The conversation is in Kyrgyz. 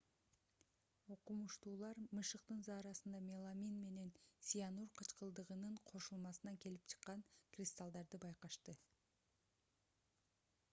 окумуштуулар мышыктын заарасында меламин менен цианур кычкылдыгынын кошулмасынан келип чыккан кристаллдарды байкашты